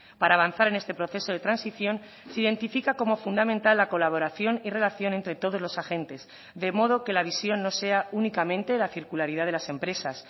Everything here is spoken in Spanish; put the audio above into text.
para avanzar en este proceso de transición se identifica como fundamental la colaboración y relación entre todos los agentes de modo que la visión no sea únicamente la circularidad de las empresas